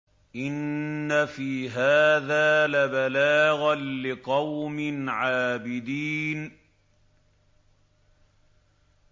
إِنَّ فِي هَٰذَا لَبَلَاغًا لِّقَوْمٍ عَابِدِينَ